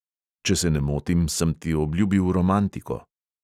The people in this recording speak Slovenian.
"Če se ne motim, sem ti obljubil romantiko."